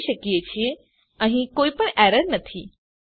આપણે જોઈએ છીએ કે અહીં કોઈપણ એરર નથી